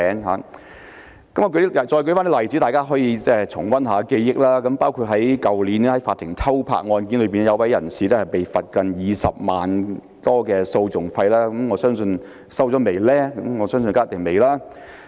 我再舉出一些例子讓大家重溫，包括去年的法庭偷拍案件，一位人士被罰款接近20多萬元訴訟費，我相信這筆費用一定尚未收取。